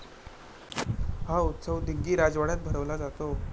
हा उत्सव दिग्गी राजवाड्यात भरवला जातो.